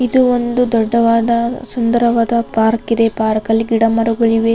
ಇದು ಒಂದು ದೊಡ್ಡದಾದ ಸುಂದರವಾದ ಪಾರ್ಕ್ ಇದೆ. ಪಾರ್ಕ್ ಅಲ್ಲಿ ಗಿಡ ಮರಗಳಿವೆ.